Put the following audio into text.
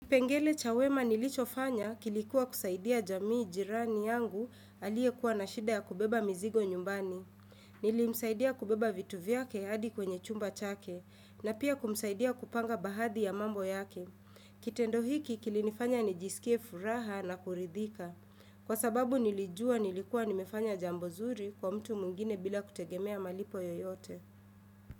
Kipengele cha wema nilichofanya kilikuwa kusaidia jamii jirani yangu aliyekuwa na shida ya kubeba mizigo nyumbani. Nilimsaidia kubeba vitu vyake adi kwenye chumba chake na pia kumsaidia kupanga bahadhi ya mambo yake. Kitendo hiki kilinifanya nijisikie furaha na kuridhika. Kwa sababu nilijua nilikuwa nimefanya jambo nzuri kwa mtu mwigine bila kutegemea malipo yoyote.